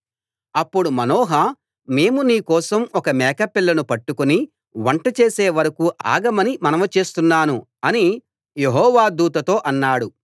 అప్పుడు మనోహ మేము నీ కోసం ఒక మేకపిల్లను పట్టుకుని వంట చేసే వరకూ ఆగమని మనవి చేస్తున్నాను అని యెహోవా దూతతో అన్నాడు